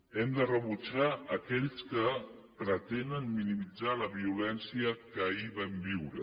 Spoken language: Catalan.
hem de rebutjar aquells que pretenen minimitzar la vio lència que ahir vam viure